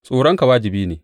Tsoronka wajibi ne.